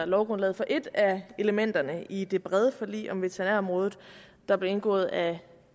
lovgrundlaget for et af elementerne i det brede forlig om veterinærområdet der blev indgået af